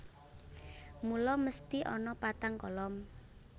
Mula mesthi ana patang kolom